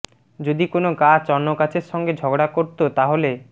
যদি কোনো গাছ অন্য গাছের সঙ্গে ঝগড়া করতো তাহলে